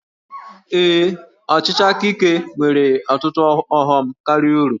Ee, ọchịchị aka ike nwere ọtụtụ ọghọm karịa uru